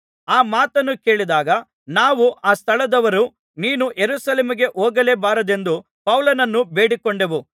ಆ ಮಾತನ್ನು ಕೇಳಿದಾಗ ನಾವು ಆ ಸ್ಥಳದವರೂ ನೀನು ಯೆರೂಸಲೇಮಿಗೆ ಹೋಗಲೇಬಾರದೆಂದು ಪೌಲನನ್ನು ಬೇಡಿಕೊಂಡೆವು